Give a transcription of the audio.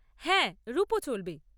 হ্যাঁ, রুপো চলবে।